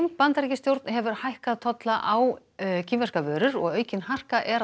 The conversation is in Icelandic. Bandaríkjastjórn hefur hækkað tolla á kínverskar vörur og aukin harka er að